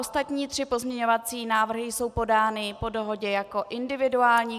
Ostatní tři pozměňovací návrhy jsou podány po dohodě jako individuální.